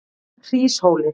Hríshóli